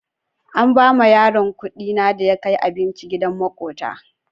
An bawa yaron kuɗi na da ya kai abinci gidan maƙota.